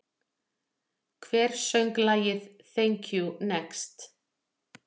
Hver söng lagið Thank you, next?